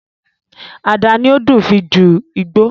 Ada ni ó dùn fii ju Igbó